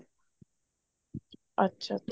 ਅੱਛਾ ਅੱਛਾ